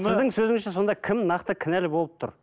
сіздің сөзіңізше сонда кім нақты кінәлі болып тұр